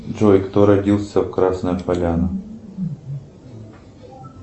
джой кто родился в красная поляна